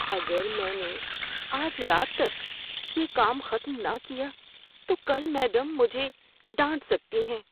اگر میں نے آج رات تک یہ کام ختم نہ کیا تو کل میڈم مجھے ڈانٹ سکتی ہیں۔